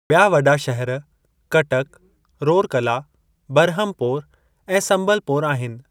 ॿिया वॾा शहर कटक, रोरकला, बरहमपोर ऐं समबलपोर आहिनि।